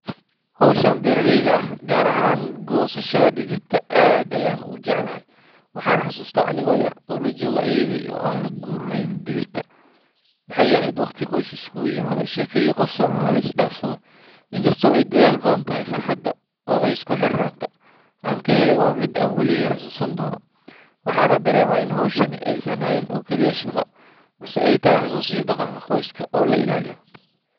Hawshan beeralayda ah, gaar ahaan goosashada digirta, aad ayaan u jeclahay. Waxaan xasuustaa anigoo yar oo la jooga ayeeydey oo aan la guraynay digirta. Waxay ahayd waqti qoyska isku yimaado, sheeko iyo qosolna la is dhaafsado. Inkastoo ay daal badan tahay, farxadda iyo isku xirnaanta aan ka helay waa mid aan weligeey xasuusan doono. Waxaan dareemaa in hawshani aysan ahayn oo kaliya shaqo, balse ay tahay xusuus iyo dhaqanka qoyska oo la ilaaliyo.